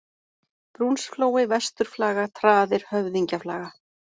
Brúnsflói, Vesturflaga, Traðir, Höfðingjaflaga